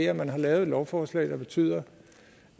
at man har lavet et lovforslag der betyder